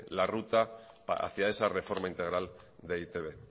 la ruta hacia esa reforma integral de e i te be